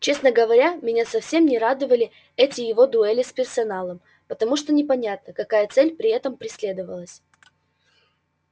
честно говоря меня совсем не радовали эти его дуэли с персоналом потому что непонятно какая цель при этом преследовалась